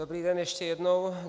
Dobrý den ještě jednou.